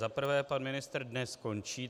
Za prvé pan ministr dnes končí.